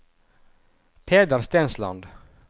Peder Stensland